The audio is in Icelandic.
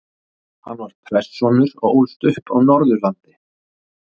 Hann var prestssonur og ólst upp á Norðurlandi.